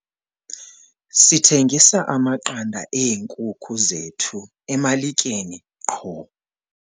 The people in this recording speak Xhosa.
Sithengisa amaqanda eenkuku zethu emalikeni qho.